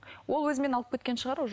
ол өзімен алып кеткен шығар уже